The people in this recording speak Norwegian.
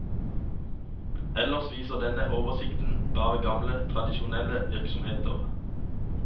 Ellers viser denne oversikten bare gamle, tradisjonelle virksomheter.